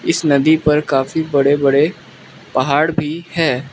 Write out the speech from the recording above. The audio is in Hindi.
इस नदी पर काफी बड़े बड़े पहाड़ भी हैं।